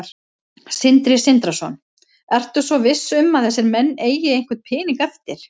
Sindri Sindrason: Ertu svo viss um að þessir menn eigi einhvern pening eftir?